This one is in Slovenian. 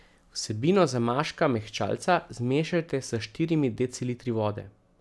Vsebino zamaška mehčalca zmešajte s štirimi decilitri vode.